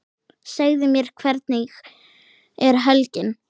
Segðu mér, hvernig er helgin?